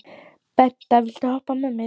Bengta, viltu hoppa með mér?